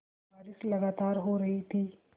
बारिश लगातार हो रही थी